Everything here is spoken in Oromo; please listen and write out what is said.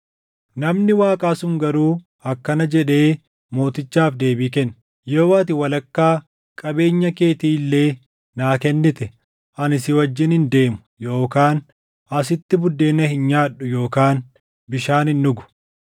Namni Waaqaa sun garuu akkana jedhee mootichaaf deebii kenne; “Yoo ati walakkaa qabeenya keetii illee naa kennite ani si wajjin hin deemu yookaan asitti buddeena hin nyaadhu yookaan bishaan hin dhugu.